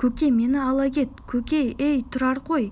көке мені ала кет көке ей тұрар қой